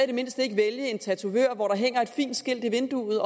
det mindste vælge en tatovør hvor der hænger et fint skilt i vinduet